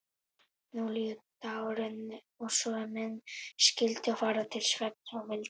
Nú líður dagurinn og er menn skyldu fara til svefns vildi